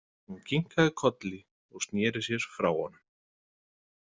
Hún kinkaði kolli og sneri sér frá honum.